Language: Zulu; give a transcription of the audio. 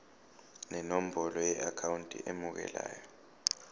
nenombolo yeakhawunti emukelayo